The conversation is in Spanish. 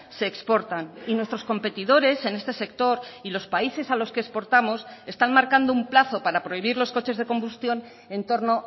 se exportan y nuestros competidores en este sector y los países a los que exportamos están marcando un plazo para prohibir los coches de combustión en torno